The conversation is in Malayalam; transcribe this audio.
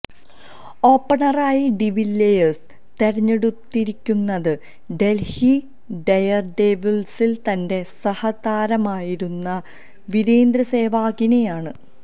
ഓപ്പണറായി ഡിവില്ലിയേഴ്സ് തെരഞ്ഞെടുത്തിരിക്കുന്നത് ഡല്ഹി ഡെയര്ഡെവിള്സില് തന്റെ സഹതാരമായിരുന്ന വീരേന്ദര് സെവാഗിനെയാണ്